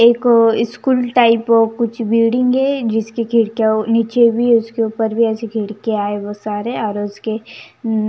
एक school type कुछ building है जिसकी खिड़कियां नीचे भी उसके ऊपर भी ऐसी खिड़कियां है वो सारे और उसके.